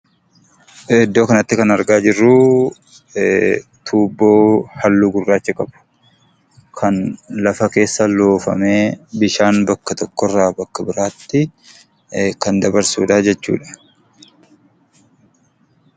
Iddoo kanatti kan argaa jirru, tuubboo halluu gurraacha qabu kan lafa keessa loofamee bishaan bakka tokkorraa bakka biraatti kan dabarsuudha jechuudha.